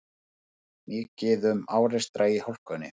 Mikið um árekstra í hálkunni